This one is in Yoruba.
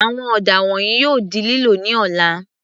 Àwọn ọ̀dà wọ̀nyìí yóò di lílò ní ọ̀la.